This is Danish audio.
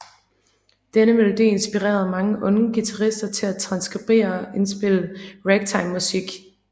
Denne melodi inspirerede mange unge guitarister til at transkribere og indspille ragtimemusik